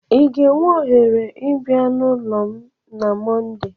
Ị ga-enwe ohere ịbịa n'ụlọ m na Mọnde?